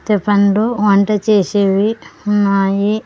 --తే పండు వంట చేసేవి ఉన్నాయి.